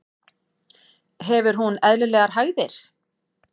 Hefur hún eðlilegar hægðir?